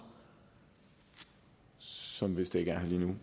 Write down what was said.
som vist ikke er her